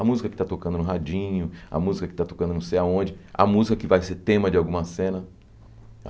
A música que está tocando no radinho, a música que está tocando não sei aonde, a música que vai ser tema de alguma cena.